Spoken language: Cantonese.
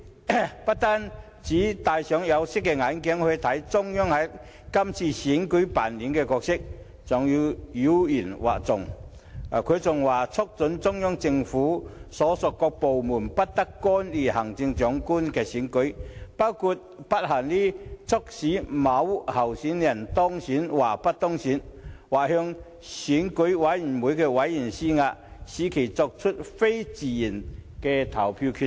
他不僅戴上有色眼鏡來看中央在這次選舉中扮演的角色，還妖言惑眾，更"促請中央人民政府所屬各部門不得干預行政長官選舉，包括但不限於促使某候選人當選或不當選，或向選舉委員會委員施壓，使其作出非自願的投票決定。